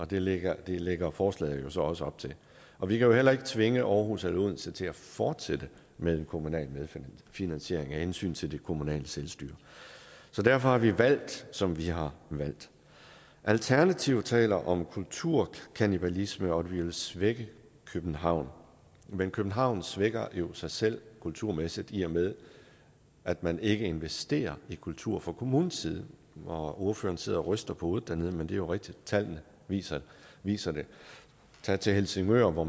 det lægger lægger forslaget jo så også op til og vi kan heller ikke tvinge aarhus eller odense til at fortsætte med en kommunal medfinansiering af hensyn til det kommunale selvstyre så derfor har vi valgt som vi har valgt alternativet taler om kulturkannibalisme og at vi vil svække københavn men københavn svækker jo sig selv kulturmæssigt i og med at man ikke investerer i kultur fra kommunens side og ordføreren sidder og ryster på hovedet dernede men det er jo rigtigt at tallene viser viser det tag til helsingør hvor